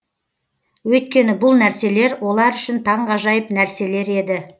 өйткені бұл нәрселер олар үшін таңғажайып нәрселер еді